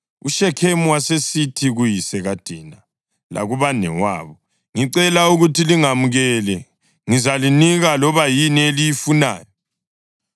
UShekhemu wasesithi kuyise kaDina lakubanewabo, “Ngicela ukuthi lingamukele, ngizalinika loba yini eliyifunayo.